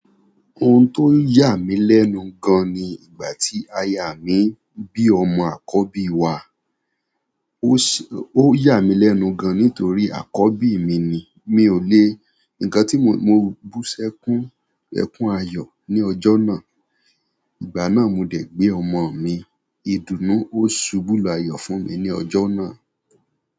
Ohun tó ń yà mí lẹ́nu gan ni ìgbà tí aya mi bí ọmọ àkọ́bí wá. Ó ṣé, ó yà mí lẹ́nu gan nítorí àkọ́bí mi ni. Mi ò lé ǹkan tí mo bú sẹ́kún ẹkún ayọ̀ ní ọjọ́ náà. Ìgbà náà ni mo de gbe ọmọ mi, ìdùnnú o subu lu ayo fún mi ni ojo náà.